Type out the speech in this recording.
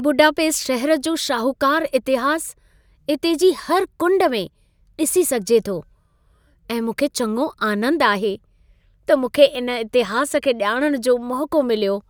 Budapest शहरु जो शाहूकारु इतिहासु इते जी हर कुंड में डि॒सी सघिजे थो ऐं मूंखे चङो आनंद आहे, त मूंखे इन इतिहास खे ॼाणण जो मौक़ो मिलियो।